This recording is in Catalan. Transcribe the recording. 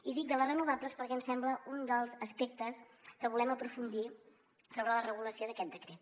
i dic de les renovables perquè em sembla un dels aspectes que volem aprofundir sobre la regulació d’aquest decret